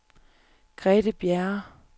Grete Bjerre